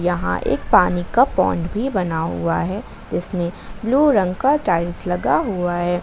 यहां एक पानी का पौंड भी बना हुआ है जिसमें ब्लू रंग का टाइल्स लगा हुआ है।